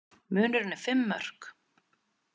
Munurinn er fimm mörk